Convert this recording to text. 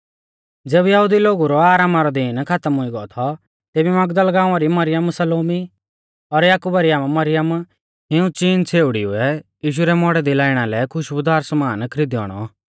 ज़ैबै यहुदी लोगु रौ आरामा रौ दीन खातम हुई गौ थौ तेबी मगदल गाँवा री मरियम सलोमी और याकुबा री आमा मरियम इऊं चिन छ़ेउड़िउऐ यीशु रै मौड़ै दी लाईणा लै खुशबुदार समान खरीदियौ आणौ